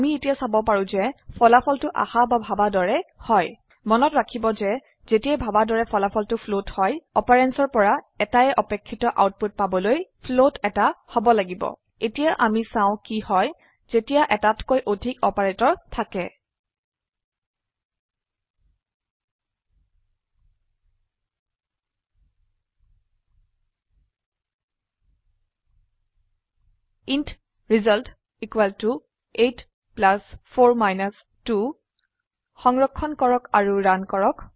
আমি এতিয়া চাব পাৰো যে ফলাফলটো আশা বা ভাবা দৰে হয় মনত ৰাখিব যে যেতিয়া ভাবা দৰে ফলাফলটো ফ্লোট হয় operandsৰ পৰা এটায়ে অপেক্ষিত আউটপুট পাবলৈ ফ্লোট এটা হব লাগিব এতিয়া আমি চাও কি হয় যেতিয়া এটাতকৈ অধিক অপাৰেটৰ থাকে ইণ্ট result 84 2 সংৰক্ষণ কৰক আৰু ৰান কৰক